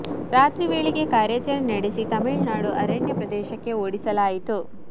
ರಾತ್ರಿ ವೇಳೆಗೆ ಕಾರ್ಯಚರಣೆ ನಡೆಸಿ ತಮಿಳು ನಾಡು ಅರಣ್ಯ ಪ್ರದೇಶಕ್ಕೆ ಓಡಿಸಲಾಯಿತು